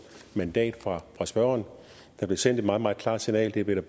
mandat fra spørgeren der blev sendt et meget meget klart signal det blev der